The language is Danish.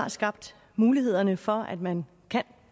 har skabt mulighederne for at man kan